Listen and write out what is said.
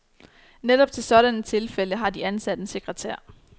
Netop til sådanne tilfælde har de ansat en sekretær.